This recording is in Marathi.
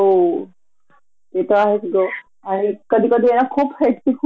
काही कारण नसताना काहीतरी चुकीच अगदी फालतू टॉपिक घ्यायचे